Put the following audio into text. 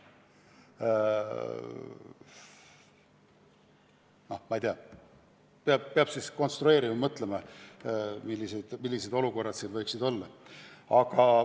Noh, ma ei tea, peab siis konstrueerima-mõtlema, millised olukorrad need võiksid olla.